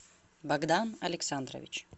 богдан александрович